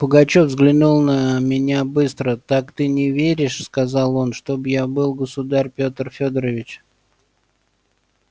пугачёв взглянул на меня быстро так ты не веришь сказал он чтоб я был государь пётр фёдорович